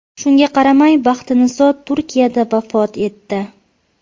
Shunga qaramay, Baxtiniso Turkiyada vafot etdi.